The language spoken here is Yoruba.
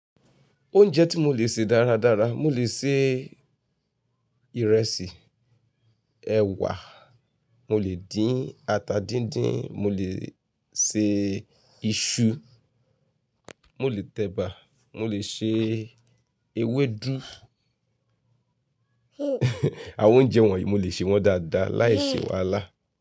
Oúnjẹ tí mo lè ṣe dáradára, mo lè ṣe ìrẹsì, ẹ̀wà, mo lè dín ata dín dín, mo lè ṣe iṣu, mo lè t'ẹ̀bà, mo lè ṣe ewédú. Àwọn oúnjẹ wọ̀nyí mo lè ṣe wọ́n dáadáa láìṣe wàhálà.